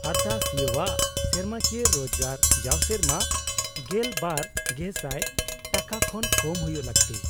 -ᱟᱨᱫᱟᱥᱤᱭᱟᱹᱣᱟᱜ ᱥᱮᱨᱢᱟᱠᱤᱭᱟᱹ ᱨᱳᱡᱜᱟᱨ ᱡᱟᱣ ᱥᱮᱨᱢᱟ ᱑᱒,᱐᱐᱐ ᱴᱟᱠᱟ ᱠᱷᱚᱱ ᱠᱚᱢ ᱦᱩᱭᱩᱜ ᱞᱟᱹᱠᱛᱤ ᱾